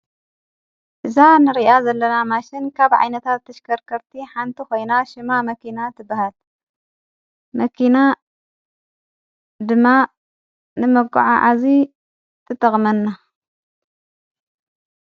እዛ ንርኣ ዘለና ማሽን ካብ ዓይነታ ተሽከርከርቲ ሓንቲ ኾይና ሽማ መኪና ትበሃል መኪና ድማ ንመጐዓዓዚ ትተቕመና።